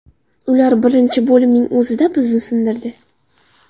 Ular birinchi bo‘limning o‘zida bizni sindirdi.